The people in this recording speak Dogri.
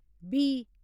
बी